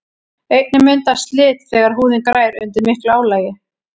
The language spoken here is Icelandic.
einnig myndast slit þegar húðin grær undir miklu álagi